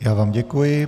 Já vám děkuji.